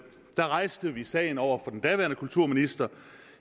rejste vi sagen over for den daværende kulturminister